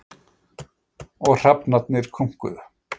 Og hrafnarnir krunkuðu.